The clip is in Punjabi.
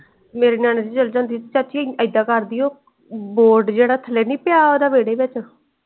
ਮੇਰੇ ਨਿਆਣੇ ਸੀ ਜਾਂਦੀ ਜਾਂਦੀ ਚਾਚੀ ਇੱਦਾ ਕਰਦੀ ਉਹ board ਜਿਹੜਾ ਥੱਲੇ ਨੀ ਪਿਆ ਓਹਦਾ ਵੇਹੜੇ ਵਿਚ।